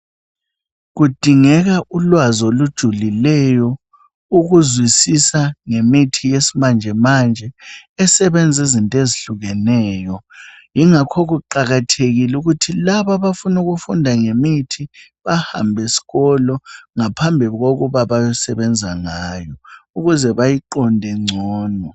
Kudingeka ulwazi olujulileyo ukuzwisisa ngemithi yesimanjemanje esebenza izinto ezehlukeneyo Kungakho kuqakathekile ukuthi labo abafuna ukufunda ngemithi bahambe esikolo ngaphambi kokuba bayosebnza ngayo ukuze bayiqonde ngcono